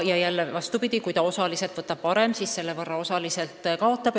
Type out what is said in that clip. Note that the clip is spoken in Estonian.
Ja vastupidi: kui ta osa pensionist võtab välja enne, siis selle võrra ta kaotab.